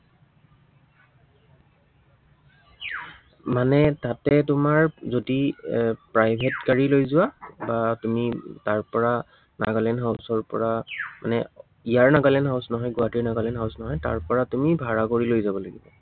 মানে তাতে তোমাৰ যদি আহ private গাড়ী লৈ যোৱা বা তুমি তাৰপৰা নাগালেণ্ড house ৰ পৰা, মানে ইয়াৰ নাগালেণ্ড house নহয়, গুৱাহাটীৰ নাগালেণ্ড house নহয়। আহ তাৰ পৰা তুমি ভাড়া কৰি লৈ যাব লাগিব।